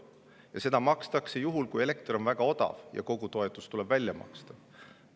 Ja seda makstakse juhul, kui elekter on väga odav ja kogu toetus tuleb välja maksta.